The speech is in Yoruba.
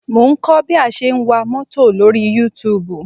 Mo ń kọ́ bí a ṣe ń wa mọ́tò lórí Youtube